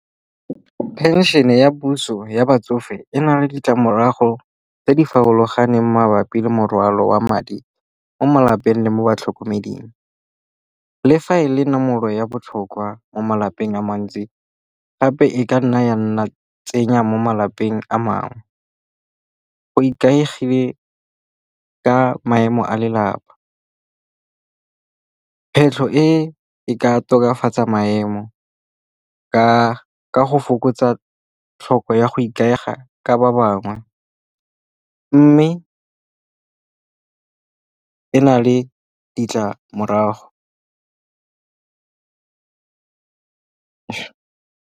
Phenšhene ya puso ya batsofe e na le ditlamorago tse di farologaneng mabapi le morwalo wa madi mo malapeng le mo batlhokomeding. Fa e le nomoro ya botlhokwa mo malapeng a mantsi gape e ka nna ya nna tsenya mo malapeng a mangwe. Go ikaegile ka maemo a lelapa. Kgwetlho e e ka tokafatsa maemo ka go fokotsa tlhoko ya go ikaega ka ba bangwe. Mme e na le ditlamorago.